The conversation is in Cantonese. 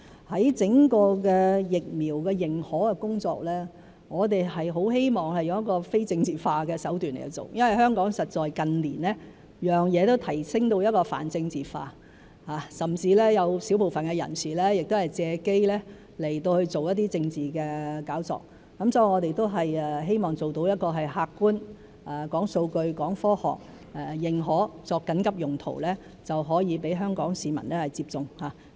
在整個疫苗的認可工作方面，我們很希望以非政治化的手段去做，因為香港實在近年每件事都被提升到泛政治化，甚至有小部分人士會藉機做一些政治炒作，所以我們都希望做到客觀、講數據、講科學來認可疫苗作緊急用途，讓香港市民可以接種。